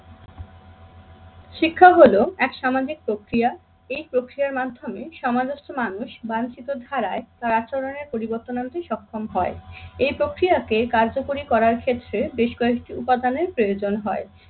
শিক্ষা হলো এক সামাজিক প্রক্রিয়া। এই প্রক্রিয়ার মাধ্যমে সমাদস্ত মানুষ বাঞ্ছিত ধারায় তার আচরণের পরিবর্তন আনতে সক্ষম হয়। এই প্রক্রিয়াকে কার্যকরী করার ক্ষেত্রে বেশ কয়েকটি উপাদানের প্রয়োজন হয়।